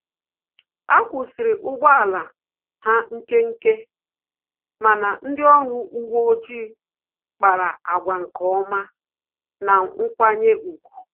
Akwusiri ụgbọ ala ha nkenke, mana ndị ọrụ uwe ọjị kpara àgwà nkeọma na nkwanye ùgwù